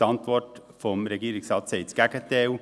Die Antwort des Regierungsrates sagt das Gegenteil.